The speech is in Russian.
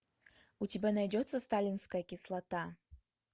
у тебя найдется сталинская кислота